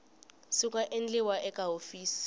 swi nga endliwa eka hofisi